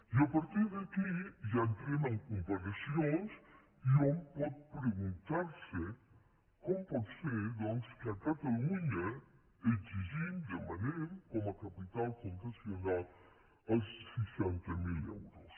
i a partir d’aquí ja entrem en comparacions i hom pot preguntar·se com pot ser doncs que a catalunya exigim demanem com a capi·tal fundacional els seixanta mil euros